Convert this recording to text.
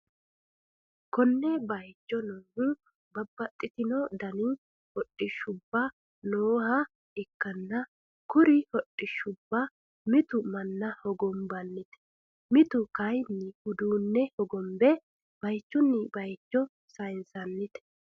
konne bayicho noohu babbaxxitino dani hodhishshubba nooha ikkanna, kuri hodhishsubbano, mitu manna hogonbannite mite kayiinni uduunne hogobbe bayichunni bayicho sayinsannite.